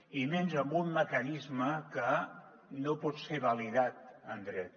i menys amb un mecanisme que no pot ser validat en dret